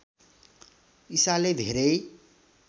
ईसाले धेरै